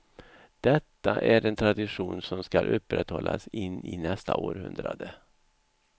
Detta är en tradition som skall upprätthållas in i nästa århundrade.